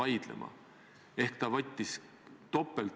Urmas Kruuse, palun!